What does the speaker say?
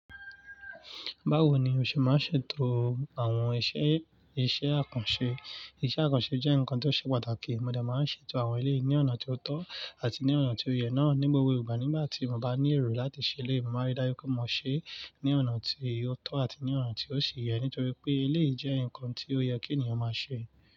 Báwo ni o ṣe máa ń ṣètò àwọn iṣẹ́, iṣẹ́ àkànṣe? Iṣẹ́ àkànṣe jẹ́ nǹkan tó ṣe pàtàkì. Mo dà má ń ṣètò àwọn ilé ní ọ̀nà tí ó tọ́ àti ní ọ̀nà tí ó yẹ náà ní gbogbo ìgbà. Nígbà tí mo bá ní ẹ̀ro láti ṣe eleyii, mo máa rí dájú pé mo ṣé ní ọ̀nà tí yóò tọ́ àti ní ọ̀nà tí ó sì yẹ. Nítorí pé eléyìí jẹ́ ǹkan tí ó yẹ kí ènìyàn máa ṣe.